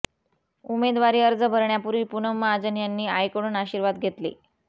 उमेदवारी अर्ज भरण्यापूर्वी पूनम महाजन यांनी आईकडून आशीर्वाद घेतले